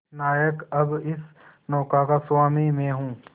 नायक अब इस नौका का स्वामी मैं हूं